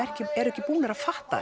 eru ekki búnir að fatta